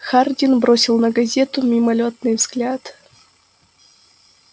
хардин бросил на газету мимолётный взгляд